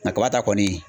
Na kaba ta kɔni